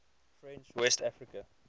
french west africa